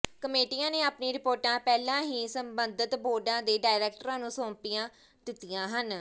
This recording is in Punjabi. ਕਮੇਟੀਆਂ ਨੇ ਆਪਣੀਆਂ ਰਿਪੋਰਟਾਂ ਪਹਿਲਾਂ ਹੀ ਸਬੰਧਤ ਬੋਰਡਾਂ ਦੇ ਡਾਇਰੈਕਟਰਾਂ ਨੂੰ ਸੌਂਪੀਆਂ ਦਿੱਤੀਆਂ ਹਨ